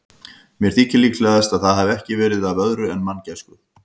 Mér þykir líklegast, að það hafi ekki verið af öðru en manngæsku.